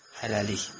Hələlik.